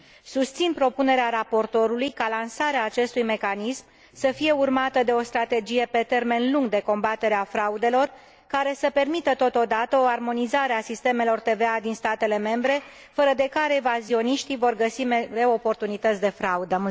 Susțin propunerea raportorului ca lansarea acestui mecanism să fie urmată de o strategie pe termen lung de combatere a fraudelor, care să permită totodată o armonizare a sistemelor TVA din statele membre, fără de care evazioniștii vor găsi mereu oportunități de fraudă.